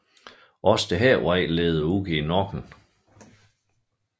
Også denne vej leder ud i Nokken